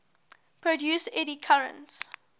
produce eddy currents